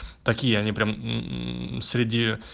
такие они прям среди